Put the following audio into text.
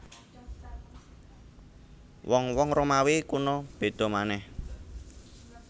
Wong wong Romawi kuna béda manèh